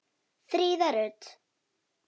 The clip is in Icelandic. Fríða Rut.